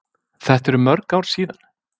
Þetta eru mörg ár síðan.